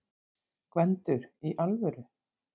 GVENDUR: Í alvöru?